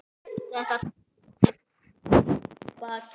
Þetta tímabil er að baki.